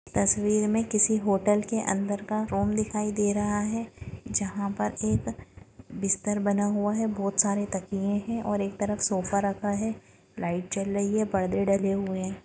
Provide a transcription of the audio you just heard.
--तस्वीर में किसी होटल के अंदर का रूम दिखाई दे रहा है जहाँ पर एक बिस्तर बना हुआ है बहोत सारे तकिये है और एक तरफ सोफा रखा है लाइट जल रही है पर्दे डले हुए है।